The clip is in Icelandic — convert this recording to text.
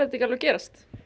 ekki alveg gerast